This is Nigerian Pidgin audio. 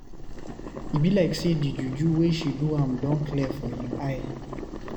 E be like say di juju wey she do am don clear for im eye.